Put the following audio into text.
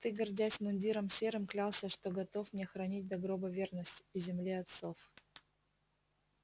ты гордясь мундиром серым клялся что готов мне хранить до гроба верность и земле отцов